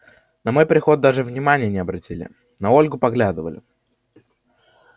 на мой приход даже внимания не обратили на ольгу поглядывали